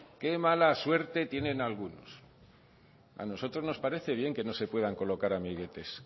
qué mala suerte tienen algunos a nosotros nos parece bien que no se puedan colocar amiguetes